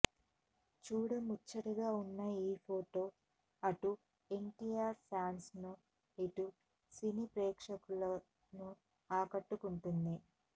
చూడముచ్చటగా ఉన్న ఈ ఫొటో అటు ఎన్టీఆర్ ఫ్యాన్స్ను ఇటు సినీ ప్రేక్షకులను ఆకట్టుకుంటోంది